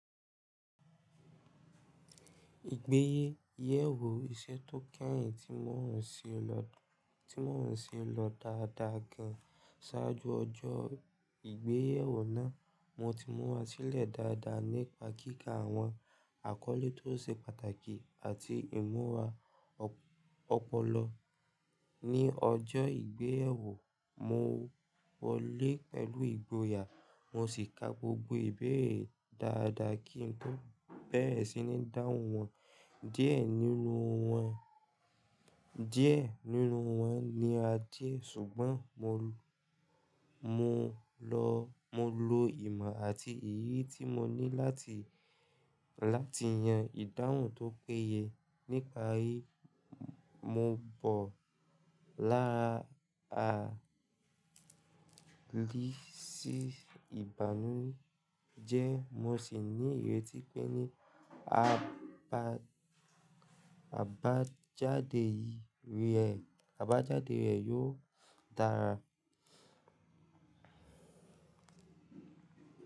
Ìgbéyèwò iṣẹ́ tó kẹ́yìn tí mò ń ṣe lọ dáadáa gan. Sáájú ọjọ́ ìgbéyèwò náà, mo ti mú wa sílẹ̀ dáadáa nípa kíkà àwọn àkọ́lé tó ṣe pàtàkì àti ìmúra ọpọlọ. Ni ọjọ́ ìgbéyèwò, mo wọlé pẹ̀lú ìgboyà mo sì ka gbogbo ìbéèrè dáadáa kí n tó bẹ̀rẹ̀ sí ní dáhùn wọn. Díẹ̀ nínú wọn ní àdíẹ̀ ṣùgbọ́n mo lo ìmọ̀ àti ìyè tí mo ní láti yan ìdáhùn tó péye. Níparí, mo bọ̀ lára àrí sì ìbànújẹ́ mo sì ní ìrètí pé ní àbájáde rẹ̀ yóò dára.